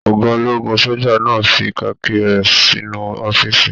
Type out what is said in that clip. Ọgá ológun soja náà fí kaki rẹ sínú ọ̀fiísí.